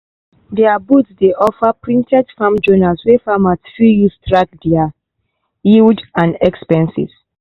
their booth dey offer printed farm journals wey farmers fit use track their yield and expenses.